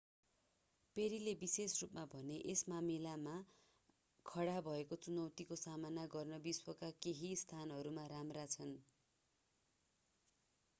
पेरीले विशेष रूपमा भने यस मामिलामा खडा भएको चुनौतीको सामना गर्न विश्वका केही स्थानहरू राम्रा छन्